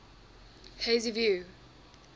hazyview